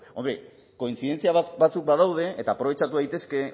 hombre kointzidentzia batzuk badaude eta aprobetxatu daitezke